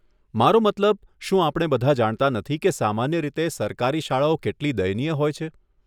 મારો મતલબ, શું આપણે બધા જાણતા નથી કે સામાન્ય રીતે સરકારી શાળાઓ કેટલી દયનીય હોય છે?